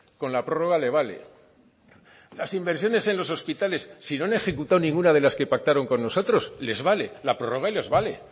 con la prorroga le vale las inversiones en los hospitales si no han ejecutado ninguna de las que pactaron con nosotros les vale la prorroga les vale